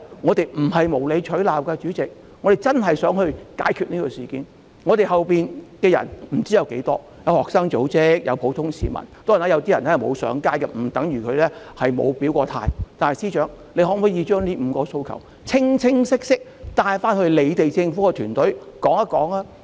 我們不是無理取鬧，真的想解決事件，我們後面不知道有多少人，有學生組織、有普通市民，當然，有些人雖然沒有上街，但不等於他們沒有表態，但司長可否把這5項訴求清晰地帶回政府團隊？